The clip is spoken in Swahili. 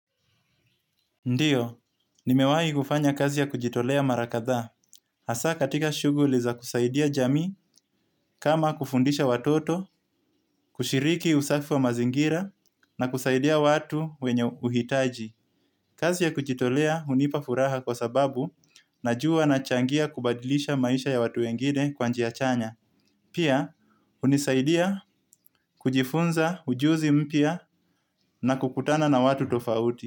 Ndiyo, nimewai gufanya kazi ya kujitolea marakatha. Hasa katika shuguliza kusaidia jami kama kufundisha watoto kushiriki usafi wa mazingira na kusaidia watu wenye uitaji. Kazi ya kujitolea unipafuraha kwa sababu na juwa na changia kubadilisha maisha ya watu wengine kwanjia chanya. Pia, unisaidia kujifunza ujuzi mpia na kukutana na watu tofauti.